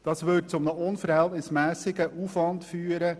Dies würde zu einem unverhältnismässigen Aufwand führen;